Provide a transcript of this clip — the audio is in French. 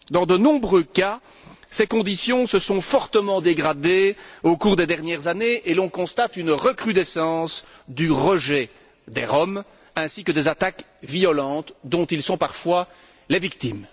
Dans de nombreux cas, ces conditions se sont fortement dégradées au cours des dernières années et l'on constate une recrudescence du rejet des Roms ainsi que des attaques violentes dont ils sont parfois les victimes.